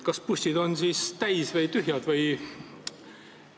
Kas bussid on siis täis või tühjad?